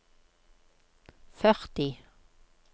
førti